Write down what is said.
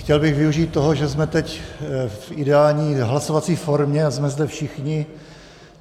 Chtěl bych využít toho, že jsme teď v ideální hlasovací formě a jsme zde všichni.